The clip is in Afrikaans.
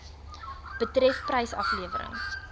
betref prys aflewering